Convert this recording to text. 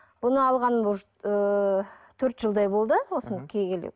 бұны алған может ыыы төрт жылдай болды осыны кигелі